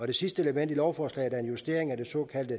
det sidste element i lovforslaget er en justering af det såkaldte